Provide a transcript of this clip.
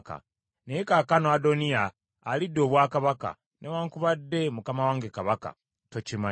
Naye kaakano Adoniya alidde obwakabaka, newaakubadde mukama wange kabaka, tokimanyi.